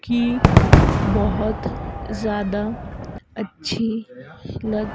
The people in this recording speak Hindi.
कि बहोत ज़्यादा अच्छी लग--